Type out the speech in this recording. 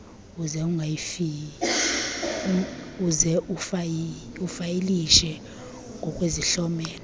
uze ufayilishe ngokwesihlomelo